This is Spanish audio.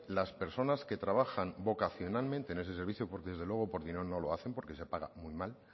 las personas que trabajan vocacionalmente en ese servicio porque desde luego por dinero no lo hacen porque se paga muy mal